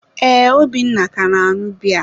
ee, Obinna ka na-añụ biya.